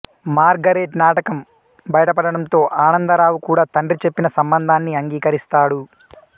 Margaret నాటకం బయటపడటంతో ఆనందరావు కూడా తండ్రి చెప్పిన సంబంధాన్ని అంగీకరిస్తాడు